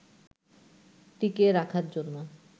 টিকিয়ে রাখার জন্য